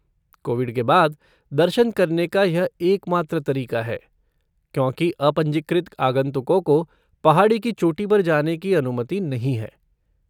Covid के बाद, दर्शन करने का यह एकमात्र तरीका है, क्योंकि अपंजीकृत आगंतुकों को पहाड़ी की चोटी पर जाने की अनुमति नहीं है।